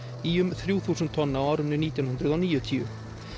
í um þrjú þúsund tonn á árinu nítján hundruð og níutíu